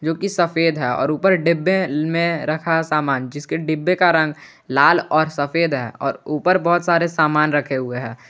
जो कि सफेद है और ऊपर डिब्बे में रखा सामान जिस के डब्बे का रंग लाल और सफेद है और ऊपर बहुत सारे सामान रखे हुए हैं।